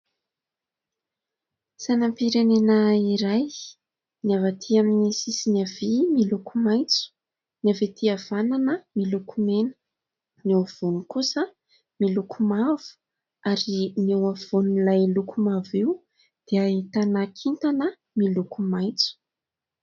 Sainampirenena iray. Ny avy aty amin'ny sisiny havia miloko maitso, ny avy aty havanana miloko mena, ny afovoany kosa miloko mavo ary ny eo afovoanin'ilay loko mavo io dia ahitana kintana miloko maitso.